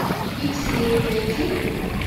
пиксели найди